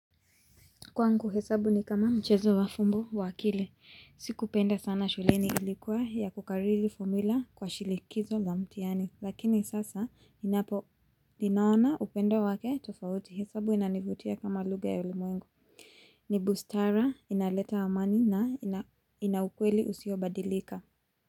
Kwangu hesabu ni kama mchezo wa fumbo wa akili. Sikupenda sana shuleni ilikuwa ya kukariri formula kwa shilikizo la mtihani. Lakini sasa ninaona upendo wake tofauti. Hesabu inanivutia kama lugha ya ulimwengu. Ni bustara, inaleta amani na ina ina ukweli usiobadilika.